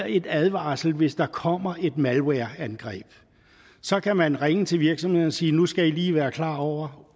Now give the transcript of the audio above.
en advarsel hvis der kommer et malwareangreb så kan man ringe til virksomheden og sige nu skal i lige være klar over